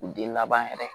Den laban yɛrɛ